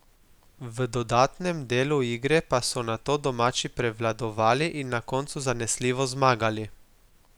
V dodatnem delu igre pa so nato domači prevladovali in na koncu zanesljivo zmagali.